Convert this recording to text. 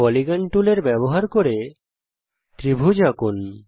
polygon টুলের ব্যবহার করে ত্রিভুজ আঁকুন